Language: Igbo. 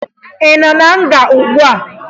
Ị nọ na nga ugbua?